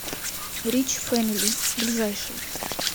рич фэмили ближайший